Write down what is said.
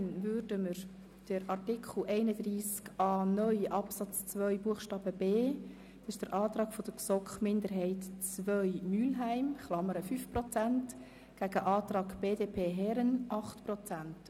Danach stellen wir bei Artikel 31a (neu) Absatz 2b den auf 5 Prozent lautenden Antrag der GSoKMinderheit II dem auf 8 Prozent lautenden Antrag BDP gegenüber.